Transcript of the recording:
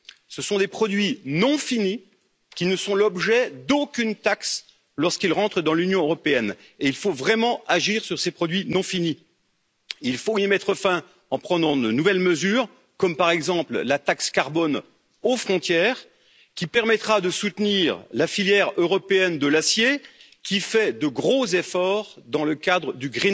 Ce sont des produits non finis, qui ne sont l'objet d'aucune taxe lorsqu'ils rentrent dans l'Union européenne. Il faut vraiment agir sur ces produits non finis, il faut y mettre fin en prenant de nouvelles mesures comme par exemple la taxe carbone aux frontières, qui permettra de soutenir la filière européenne de l'acier, qui fait de gros efforts dans le cadre du